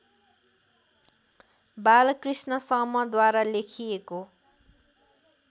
बालकृष्ण समद्वारा लेखिएको